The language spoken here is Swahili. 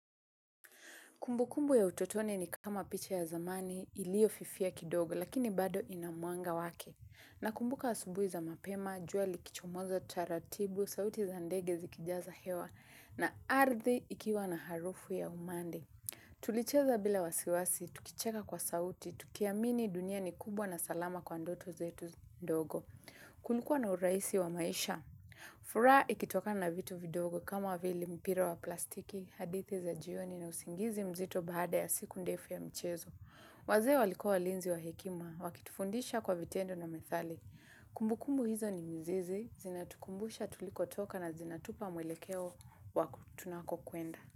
Kumbukumbu ya utotoni ni kama picha ya zamani iliyofifia kidogo lakini bado ina mwanga wake. Nakumbuka asubuhi za mapema, jua likichomoza, taratibu, sauti za ndege zikijaza hewa na ardhi ikiwa na harufu ya umande. Tulicheza bila wasiwasi, tukicheka kwa sauti, tukiamini dunia ni kubwa na salama kwa ndoto zetu ndogo. Kulikua na urahisi wa maisha. Furaha ikitokana na vitu vidogo kama vile mpira wa plastiki, hadithi za jioni na usingizi mzito baada ya siku ndefu ya mchezo. Wazee walikua walinzi wa hekima, wakitufundisha kwa vitendo na methali. Kumbukumbu hizo ni mzizi, zinatukumbusha tulikotoka na zinatupa mwelekeo wa tunakokwenda.